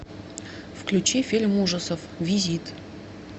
включи фильм ужасов визит